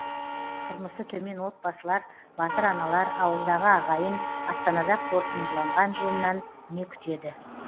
тұрмысы төмен отбасылар батыр аналар ауылдағы ағайын астанада қорытындыланған жиыннан не күтеді